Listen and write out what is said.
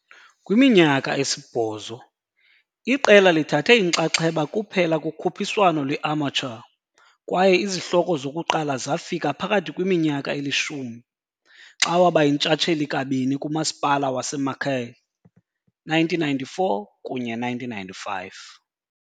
Kwiminyaka esibhozo, iqela lithathe inxaxheba kuphela kukhuphiswano lwe-amateur kwaye izihloko zokuqala zafika phakathi kwiminyaka elishumi, xa waba yintshatsheli kabini kabini kumasipala waseMacaé, 1994 kunye 1995.